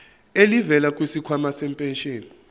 elivela kwisikhwama sempesheni